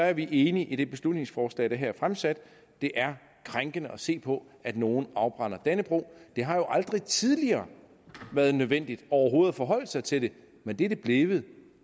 er vi enige i det beslutningsforslag der her er fremsat det er krænkende at se på at nogen afbrænder dannebrog det har aldrig tidligere været nødvendigt overhovedet at forholde sig til det men det er det blevet